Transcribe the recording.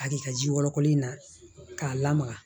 A di ka ji wɔlɔkɔli in na k'a lamaga